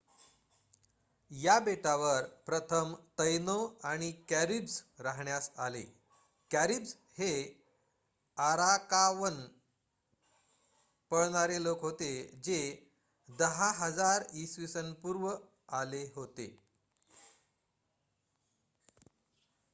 या बेटावर प्रथम तैनो आणि कॅरीब्स राहण्यास आले. कॅरीब्स हे आरावाकन पळणारे लोक होते जे 10,000 इ.स.पु. आले होते